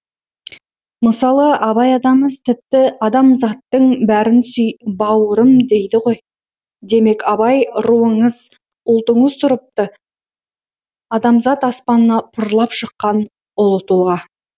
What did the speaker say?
мысалы абай атамыз тіпті адамзаттың бәрін сүй бауырым дейді ғой демек абай руыңыз ұлтыңыз тұрыпты адамзат аспанына пырлап шыққан ұлы тұлға